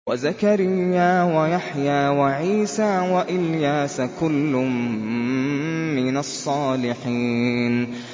وَزَكَرِيَّا وَيَحْيَىٰ وَعِيسَىٰ وَإِلْيَاسَ ۖ كُلٌّ مِّنَ الصَّالِحِينَ